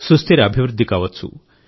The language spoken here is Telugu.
సుస్థిర అభివృద్ధి కావచ్చు